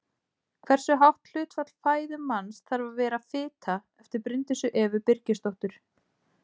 Á eftir eldavélinni kom fyrsta kynslóð af einföldum þvottavélum og rafknúnum þvottapottum.